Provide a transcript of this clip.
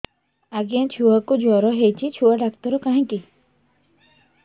ଆଜ୍ଞା ଛୁଆକୁ ଜର ହେଇଚି ଛୁଆ ଡାକ୍ତର କାହିଁ କି